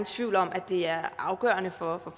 tvivl om at det er afgørende for